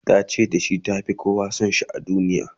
ta ce da shi ta Fi kowa San shi a duniya